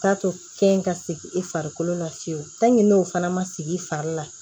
K'a to kɛn ka segin i farikolo la fiyewu n'o fana ma sigi i fari la